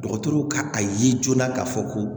Dɔgɔtɔrɔw ka a ye joona k'a fɔ ko